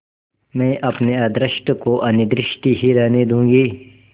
मैं अपने अदृष्ट को अनिर्दिष्ट ही रहने दूँगी